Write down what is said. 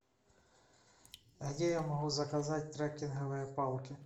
а где я могу заказать трекинговые палки